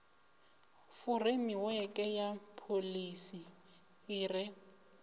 furemiweke ya pholisi i re